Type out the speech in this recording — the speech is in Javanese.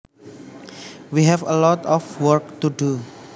We have a lot of work to do